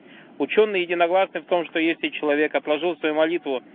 учёные единогласны в том что если человек отложил свои молитву